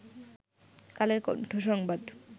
কালের কন্ঠ সংবাদ